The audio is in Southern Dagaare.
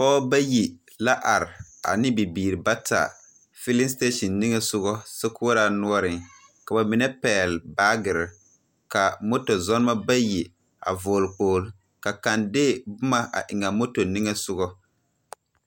Pɔgebɔ bayi la are ane bibiiri bata, filling station niŋesogɔ sokoɔraa noɔreŋ. Ka bamine pɛgele baagere, ka moto zɔɔnemɔ bayi vɔɔl hɛlmɛt. Ka kaŋ de boma a eŋ a moto niŋesogo.